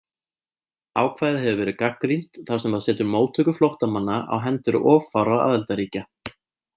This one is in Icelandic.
Ákvæðið hefur verið gagnrýnt þar sem það setur móttöku flóttamanna á hendur of fárra aðildarríkja.